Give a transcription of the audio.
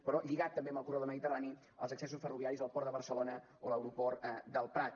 però lligat també amb el corredor mediterrani els accessos ferroviaris al port de barcelona o a l’aeroport del prat